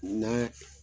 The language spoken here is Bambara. N'a